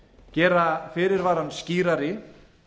gera fyrirvarann skýrari